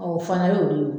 o fana y'o de ye